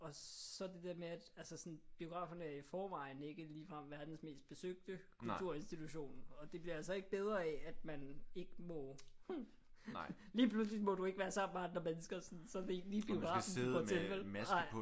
Og så det der med at altså sådan biograferne er i forvejen ikke ligefrem verdens mest besøgte kulturinstitution og det bliver altså ikke bedre af at man ikke må. Lige pludselig må du ikke være sammen med andre mennesker sådan så er det ikke lige biografen du går til vel? Ej